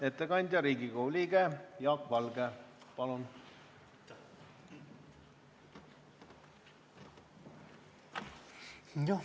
Ettekandja Riigikogu liige Jaak Valge, palun!